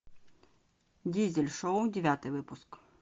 дизель шоу девятый выпуск